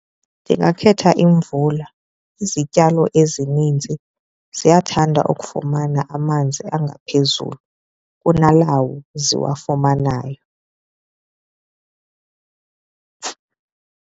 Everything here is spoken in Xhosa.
Ndingakhetha imvula. Izityalo ezininzi ziyathanda ukufumana amanzi angaphezulu kunalawo ziwafumanayo.